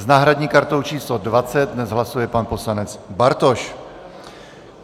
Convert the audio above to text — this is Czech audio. S náhradní kartou číslo 20 dnes hlasuje pan poslanec Bartoš.